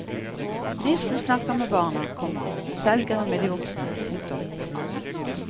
Nissen snakker med barna, komma selgeren med de voksne. punktum